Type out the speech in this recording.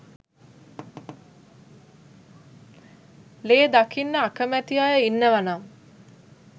ලේ දකින්න අකමැති අය ඉන්නවා නම්